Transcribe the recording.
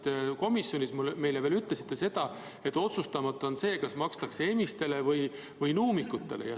Te komisjonis ütlesite meile veel seda, et otsustamata on, kas makstakse emiste või nuumikute eest.